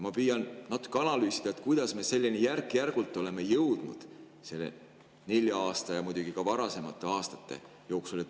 Ma püüan natuke analüüsida, kuidas me oleme selleni järk-järgult jõudnud selle nelja aasta ja muidugi ka varasemate aastate jooksul.